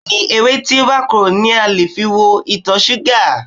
Bẹ́ẹ̀ni, ewé tí ó bá korò ni a lè fi wo ìtọ̀ṣúgà.